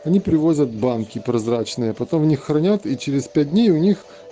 они привозят банки прозрачные потом в них хранят и через пять дней у них